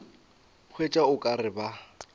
hwetša o ka re ba